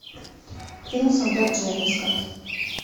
фильм солдат джейн искать